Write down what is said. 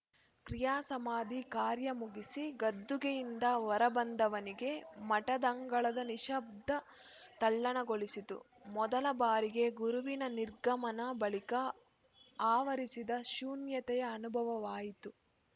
ಕ್ರಿಯಾ ಸಮಾಧಿ ಕಾರ್ಯ ಮುಗಿಸಿ ಗದ್ದುಗೆಯಿಂದ ಹೊರ ಬಂದವನಿಗೆ ಮಠದಂಗಳದ ನಿಶ್ಶಬ್ದ ತಲ್ಲಣಗೊಳಿಸಿತು ಮೊದಲ ಬಾರಿಗೆ ಗುರುವಿನ ನಿರ್ಗಮನ ಬಳಿಕ ಆವರಿಸಿದ ಶೂನ್ಯತೆಯ ಅನುಭವವಾಯಿತು